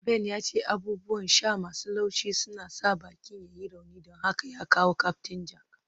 Ben ya ce abubuwan sha masu laushi suna sa bikin ya yi rauni, don haka ya kawo Captain Jack